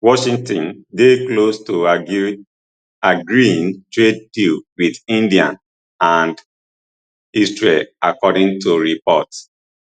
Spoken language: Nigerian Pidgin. washington dey close to agreeing trade deals wit india and israel according to reports